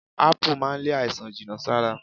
Ápù máa ń lé àìsàn jìnà sára